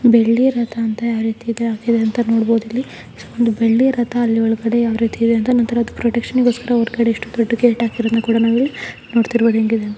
ಬೆಳ್ಳಿ ರಥ ಅಂತ ಯಾವ ರೀತಿ ಇದರಲ್ಲಿ ಹಾಕಿದರೆ ಅಂತ ನೋಡಬಹುದು. ಇಲ್ಲಿ ಒಂದು ಬೆಳ್ಳಿ ರಥ ಅದರ ಒಳಗಡೆ ಯಾವ ರೀತಿ ಇದೆ ಅಂತ ಒಂಥರಾ ಪ್ರೊಟೆಕ್ಷನಗೋಸ್ಕರ ಹೊರಗಡೆ ಒಂದು ದೊಡ್ಡ ಗೇಟ್ ಹಾಕಿರೋದನ್ನ ಕೂಡ ನಾವಿಲ್ಲಿ ನೋಡ್ತಿರಬಹುದು.